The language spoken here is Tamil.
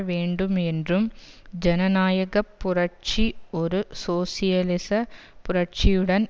வேண்டும் என்றும் ஜனநாயக புரட்சி ஒரு சோசியலிச புரட்சியுடன்